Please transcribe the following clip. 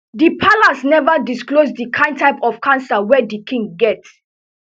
di palace neva disclose di kain type of cancer wey di king get